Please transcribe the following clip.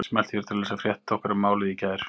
Smelltu hér til að lesa frétt okkar um málið í gær